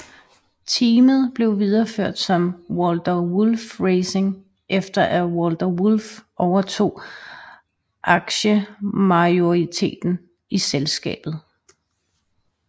Teamet blev videreført som Walter Wolf Racing efter at Walter Wolf overtog aktiemajoriteten i selskabet